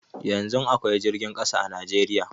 Yanzun akwai jirgin ƙasa a Najeriya